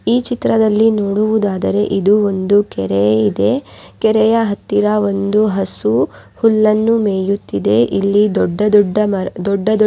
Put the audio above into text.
ಈ ಚಿತ್ರದಲ್ಲಿ ನೋಡುವುದಾದರೆ ಇದು ಒಂದು ಕೆರೆ ಇದೆ ಕೆರೆಯ ಹತ್ತಿರ ಒಂದು ಹಸು ಹುಲ್ಲನ್ನು ಮೇಯುತ್ತಿದೆ ಇಲ್ಲಿ ದೊಡ್ಡ ದೊಡ್ಡ ಮರ ದೊಡ್ಡ ದೊಡ್--